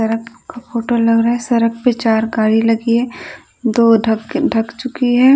सड़क का फोटो लग रहा है सरक पे चार गाड़ी लगी है दो धक ढक चुकी है।